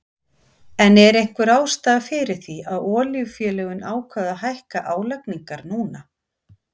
En er einhver ástæða fyrir því að olíufélögin ákváðu að hækka álagningar núna?